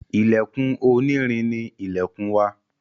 Ilèkùn oní irin ni ilèkùn wa